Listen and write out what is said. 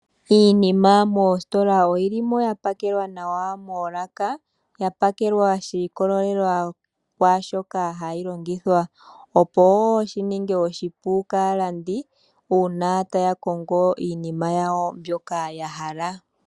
Iinima moostola oyi limo ya pakelwa nawa moolaka. Ya pakelwa sha ikololela kwaa shoka hayi longithwa, opo wi shi ninge oshipu kaalandi uuna taya kongo iinima yawo mbyoka ya hala.